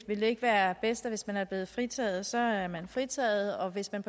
vil det ikke være bedst at hvis man er blevet fritaget så er man fritaget og at hvis man